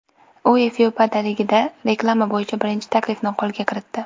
U Efiopiyadaligida reklama bo‘yicha birinchi taklifni qo‘lga kiritdi.